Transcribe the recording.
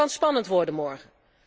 En het kan spannend worden morgen.